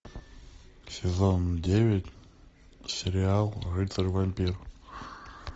сезон девять сериал рыцарь вампир